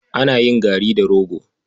Ana yin gari da rogo.